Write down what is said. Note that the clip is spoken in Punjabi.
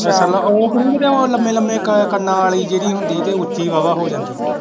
ਓਹ ਤਾਂਨੀ ਉਹ ਲੰਮੇ ਲੰਮੇ ਕੰਨਾਂ ਵਾਲੀ ਜਿਹੜੀ ਹੁੰਦੀ ਤੇ ਉੱਚੀ ਵਾ ਵਾ ਹੋ ਜਾਂਦੀ।